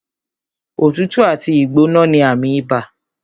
Òtútù àti ìgbóná ní àmì ibà